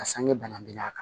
A sange bana binna a kan